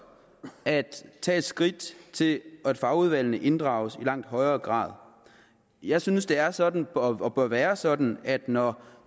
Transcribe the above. at tage et skridt til at fagudvalgene inddrages i langt højere grad jeg synes at det er sådan og bør være sådan at når